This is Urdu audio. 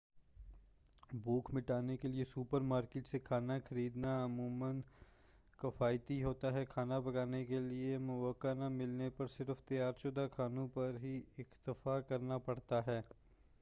بھوک مٹانے کیلئے سوپر مارکیٹ سے کھانا خریدنا عموما کفایتی ہوتا ہے کھانا پکانے کیلئے مواقع نہ ملنے پر صرف تیار شدہ کھانوں پر ہی اکتفا کرنا پڑتا ہے